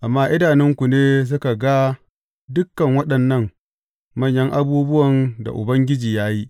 Amma idanunku ne suka ga dukan waɗannan manyan abubuwan da Ubangiji ya yi.